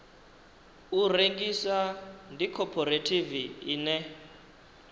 u rengisa ndi khophorethivi ine